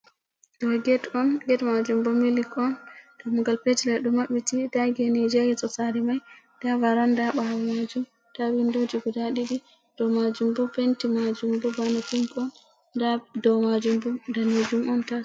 Ɗo get on, get majum bo mili on, dammugal petel mai ɗo maɓɓiti, da genije ya yeso sare mai, da varanda ha ɓawo majum, da windoji guda ɗiɗi, ɗo majum bo penti majum bo bana pink on da dow majum bo danejum on tas.